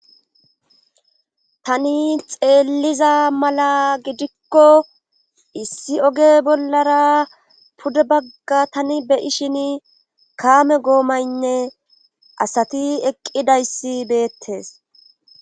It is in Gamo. Tani xeeliza mala gidikko issi oge bollara pudde bagga tani beyishin kaame goomaynne asati eqqidayssi beettes.